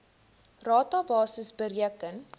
rata basis bereken